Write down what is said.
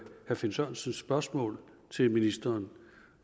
finn sørensens spørgsmål til ministeren